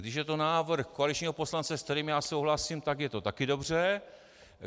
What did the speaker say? Když je to návrh koaličního poslance, s kterým já souhlasím, tak je to taky dobře.